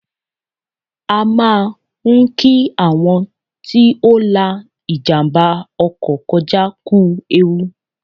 A máa ń kí àwọn tí ó la ìjàmbá ọkọ̀ kọjá kú ewu